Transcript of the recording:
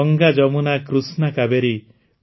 Ganga Yamuna Krishna Kaveri